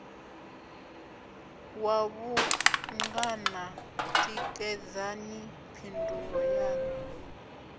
wa vhungana tikedzani phindulo yaṋu